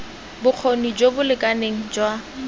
bokgoni jo bo lekaneng jwa